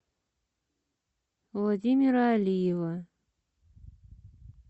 владимира алиева